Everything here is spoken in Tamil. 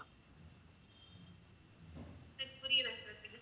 எனக்கு புரியல sir